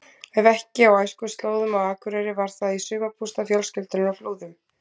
Ef ekki á æskuslóðunum á Akureyri var það í sumarbústað fjölskyldunnar á Flúðum.